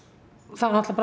þá